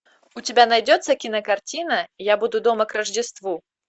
у тебя найдется кинокартина я буду дома к рождеству